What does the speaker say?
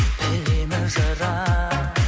білемін жырақ